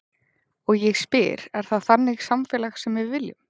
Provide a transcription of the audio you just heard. Og ég spyr, er það þannig samfélag sem við viljum?